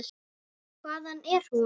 Hvaðan er hún?